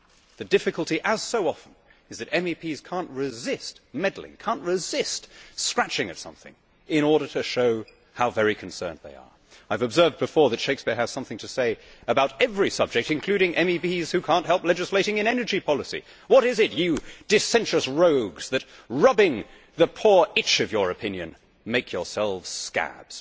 The difficulty as so often is that MEPs cannot resist meddling, cannot resist scratching at something in order to show how very concerned they are. I have observed before that Shakespeare has something to say about every subject, including MEPs who cannot help legislating in energy policy What's the matter, you dissentious rogues, that, rubbing the poor itch of your opinion, Make yourselves scabs?'.